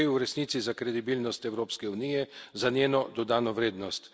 Gre v resnici za kredibilnost Evropske unije, za njeno dodano vrednost.